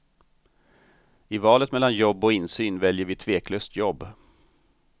I valet mellan jobb och insyn väljer vi tveklöst jobb.